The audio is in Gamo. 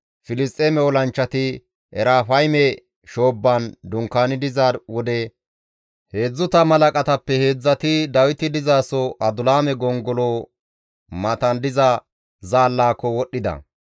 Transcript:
Filisxeeme olanchchati Erafayme shoobban dunkaani diza wode 30 halaqatappe heedzdzati Dawiti dizaso Adulaame gongolo matan diza zaallaako wodhdhida.